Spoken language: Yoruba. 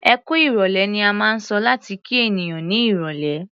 "Ẹkú ìrọ̀lẹ́" ni a máa ń sọ láti kí ènìyàn ní irọ̀lẹ́.